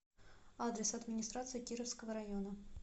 адрес администрация кировского района